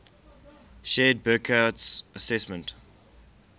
shared burckhardt's assessment